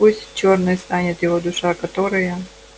пусть чёрной станет его душа которая